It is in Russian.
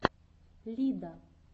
лида